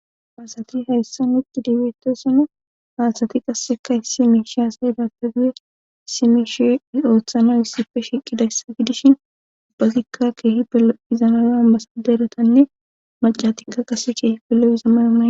asati hayssan utidi betasona haasati qasseka issi miishe asayi dapeguye simishe oothano hissife shiqidayssa gidishin ubbazikka keehi pelo izamayoan basaderatanne macatikka qase keehipe llo'iza mayo mayidi